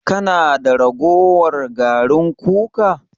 Kana da ragowar garin kuka?